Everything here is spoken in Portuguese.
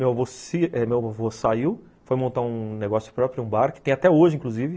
Meu avô saiu, foi montar um negócio próprio, um bar, que tem até hoje, inclusive.